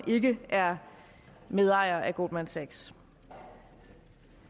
ikke er medejer af goldman sachs